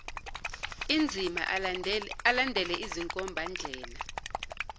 enzima alandele izinkombandlela